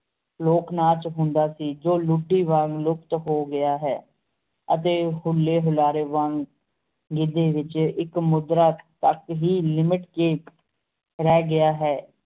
ਲੋਕ ਨਾਚ ਹੁੰਦਾ ਸੀ ਜੋ ਵਾਂਗ ਲੁਪਤ ਹੋ ਗਿਆ ਹੈ, ਅਤੇ ਹੁਲੇ ਹੁਲਾਰੇ ਵਾਂਗ ਗੀਤ ਦੇ ਵਿਚ ਇਕ ਮੁਦਰਾ ਤਕ ਹੀ ਲਿਮਿਟ ਕੇ ਰਹਿ ਗਿਆ ਹੈ